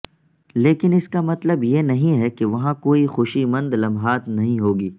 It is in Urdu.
لیکن اس کا مطلب یہ نہیں ہے کہ وہاں کوئی خوشی مند لمحات نہیں ہوگی